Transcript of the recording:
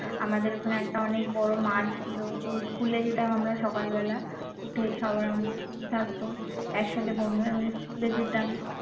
আমাদের ওখানে একটা অনেক বড় মাঠ ছিল তো school এ যেতাম আমরা সকালবেলা উঠে সকালে আমাদের school থাকতো একসাথে বন্ধুরা মিলে school এ যেতাম